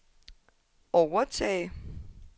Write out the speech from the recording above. overtage